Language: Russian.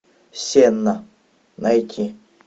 сенна найти